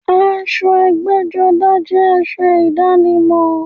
Aṣọ ẹgbẹ́-jọdá jẹ́ aṣọ ìdánimọ̀.